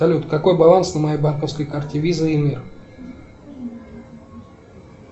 салют какой баланс на моей банковской карте виза и мир